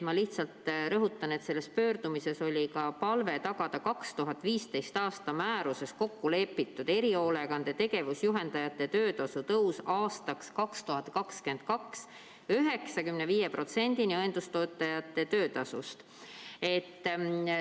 Ma lihtsalt rõhutan, et selles pöördumises oli ka palve tagada 2015. aasta määruses kokku lepitud erihoolekande tegevusjuhendajate töötasu tõus 2022. aastaks kuni 95% õendustöötajate töötasust.